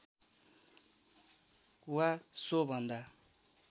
वा सो भन्दा